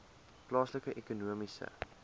plaaslike ekonomiese